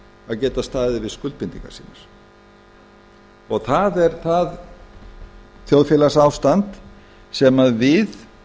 að geta staðið við skuldbindingar sínar það er það þjóðfélagsástand sem við